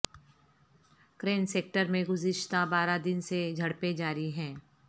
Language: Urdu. کیرن سیکٹر میں گزشتہ بارہ دن سے جھڑپیں جاری ہیں